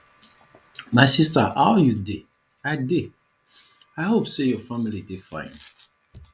my sister how you dey i dey i hope say your family dey fine